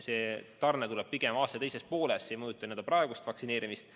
See tarne tuleb pigem aasta teises pooles, see ei mõjuta praegust vaktsineerimist.